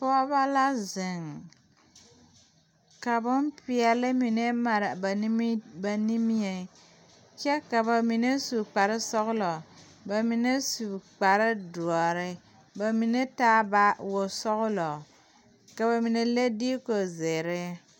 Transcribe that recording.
Pɔge ba la zeŋ ka boŋ peɛle mine mare ba nmieŋ kyɛ ka ba mine su kpare sɔglɔ bmine s kpare doɔre ba mine taa baagi wosɔglɔ ka ba mine le diko zeere.